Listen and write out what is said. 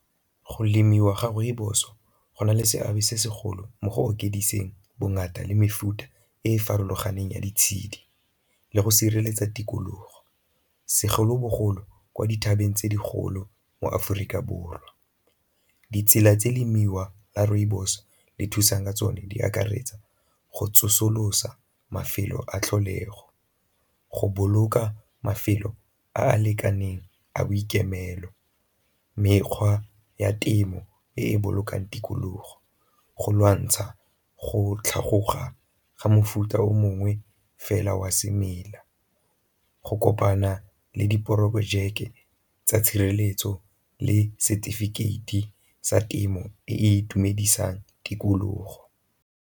Go lemiwa ga rooibos-o go na le seabe se segolo mo go okeditsweng bongata le mefuta e e farologaneng ya ditshedi le go sireletsa tikologo segolobogolo kwa dithabeng tse digolo mo Aforika Borwa. Ditsela tse lemiwa la rooibos le thusang ka tsone di akaretsa go tsosolosa mafelo a tlholego, go boloka mafelo a a lekaneng a boikemelo, mekgwa ya temo e e bolokang tikologo, go lwantsha go tlhatlhoga ga mofuta o mongwe fela wa semela, go kopana le diporojeke tsa tshireletso le setefikeiti sa temo e e itumedisang tikologo.